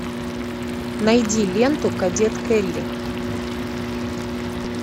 найди ленту кадет келли